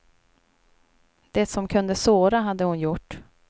Det som kunde såra hade hon gjort.